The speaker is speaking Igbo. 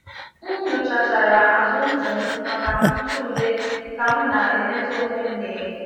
M nyochachara azụ ntị m maka ntụ ude ka m na-emezi onwe m n’enyo.